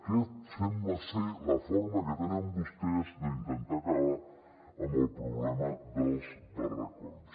aquesta sembla ser la forma que tenen vostès d’intentar acabar amb el problema dels barracons